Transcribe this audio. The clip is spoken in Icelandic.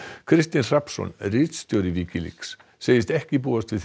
Kristinn Hrafnsson ritstjóri Wikileaks segist ekki búast við